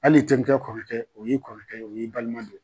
Hal'i terikɛ kɔrɔkɛ o y'i kɔrɔkɛ ye o y'i balima de